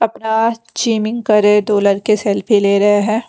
अपना चीमिंग करे दो लड़के सेल्फी ले रहे हैं।